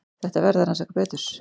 Þetta verði að rannsaka betur.